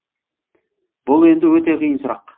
бұл енді өте қиын сұрақ